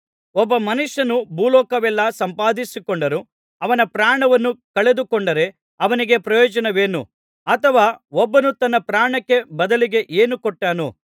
ಒಬ್ಬ ಮನುಷ್ಯನು ಭೂಲೋಕವನ್ನೆಲ್ಲಾ ಸಂಪಾದಿಸಿಕೊಂಡರೂ ಅವನ ಪ್ರಾಣವನ್ನು ಕಳೆದುಕೊಂಡರೆ ಅವನಿಗೆ ಪ್ರಯೋಜನವೇನು ಅಥವಾ ಒಬ್ಬನು ತನ್ನ ಪ್ರಾಣಕ್ಕೆ ಬದಲಿಗೆ ಏನು ಕೊಟ್ಟಾನು